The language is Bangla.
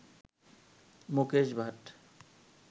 মুকেশ ভাট